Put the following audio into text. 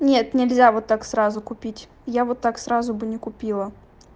нет нельзя вот так сразу купить я вот так сразу бы не купила